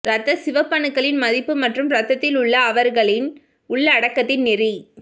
இரத்த சிவப்பணுக்களின் மதிப்பு மற்றும் இரத்தத்தில் உள்ள அவர்களின் உள்ளடக்கத்தின் நெறி